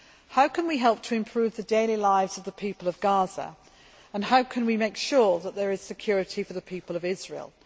How can we help to improve the daily lives of the people of Gaza and how can we make sure that there is security for the people of Israel?